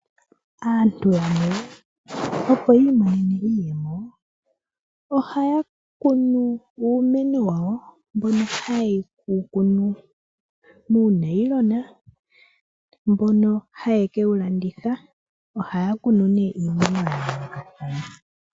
Aantu yamwe opo yi imonene iiyemo, ohaya kunu uumeno wawo mbono haye wu kunu muunayilona mbono haye kewu landitha ohaya kunu nduno iimeno ya yoolokathana.